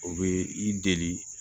O bɛ i deli